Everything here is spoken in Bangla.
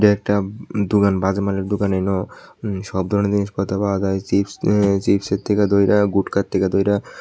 একটা দুকান বাজে মানের দুকান সব ধরনের জিনিসপত্র পাওয়া যায় চিপস ই চিপসের থেকে ধইরা গুটখার থেকে ধইরা--